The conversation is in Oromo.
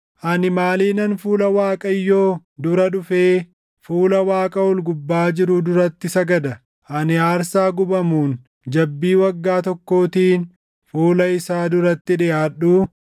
Ani maaliinan fuula Waaqayyoo dura dhufee fuula Waaqa ol gubbaa jiruu duratti sagada? Ani aarsaa gubamuun, jabbii waggaa tokkootiin fuula isaa duratti dhiʼaadhuu?